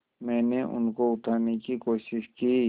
मैंने उनको उठाने की कोशिश की